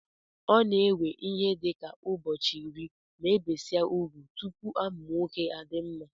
Ọ na ewe ihe dika ubọchi iri ma ebesia ugwụ, tụpụ amụ nwọke adimma.